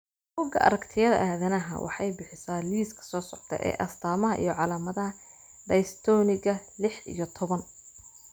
Bugaa aragtiyada aDdanaha waxay bixisaa liiska soo socda ee astamaha iyo calaamadaha Dystonika lix iyo toban